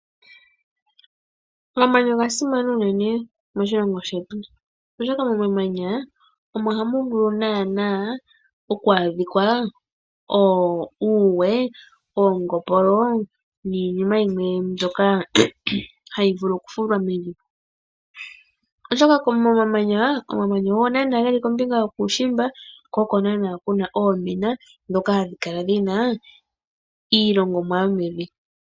Omamanya oga simana unene moshilongo shetu, oshoka nomamanya omo hamu vulu naanaa okwaa dhikwa uuwe, oongopolo niinima yimwe mbyoka hayi vulu oku fulwa mevi, oshoka komamanya, omamanya ogo naanaa geli kombinga yokuushimba, ko oko haku kala oomina dhoka hadhi kala dhina iilongomwa yomevi.